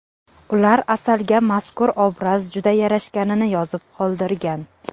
Ular Asalga mazkur obraz juda yarashganini yozib qoldirgan.